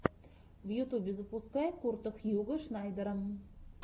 в ютубе запускай курта хьюго шнайдера